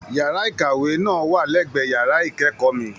Yàrá ìkàwé náà wà l'ẹ̀gbẹ́ yàrá ikẹkọọ mí.